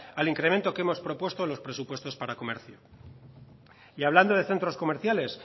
al incremento que hemos propuesto en los presupuestos para comercio y hablando de centros comerciales